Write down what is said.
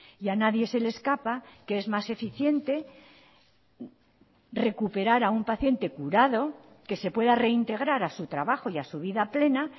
y a nadie se le escapa que es más eficiente recuperar a un paciente curado que se pueda reintegrar a su trabajo y a su vida plena